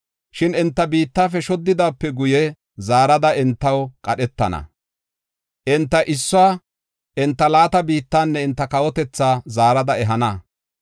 Shin enta biittafe shoddidaape guye, zaarada entaw qadhetana. Enta issuwa enta laata biittanne enta kawotethaa zaarada ehana.